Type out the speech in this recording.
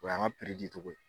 An y'an ka piri di cogo ye